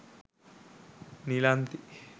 nilanthi